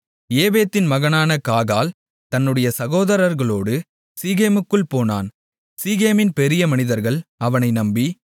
ஏபேதின் மகனான காகால் தன்னுடைய சகோதரர்களோடு சீகேமுக்குள் போனான் சீகேமின் பெரிய மனிதர்கள் அவனை நம்பி